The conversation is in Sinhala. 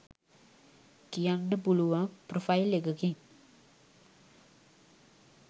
කියන්න පුළුවන් ප්‍රොෆයිල් එකකින්.